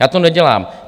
Já to nedělám.